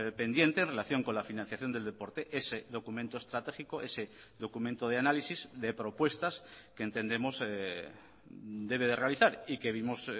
pendiente en relación con la financiación del deporte ese documento estratégico ese documento de análisis de propuestas que entendemos debe de realizar y que vimos